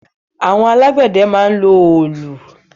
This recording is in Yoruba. Àwọn alágbẹ̀dẹ dúdú máa ń lo òòlù.